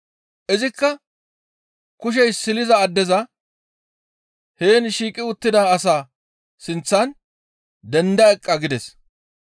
Izikka kushey silida addeza, «Heen shiiqi uttida asaa sinththan denda eqqa» gides.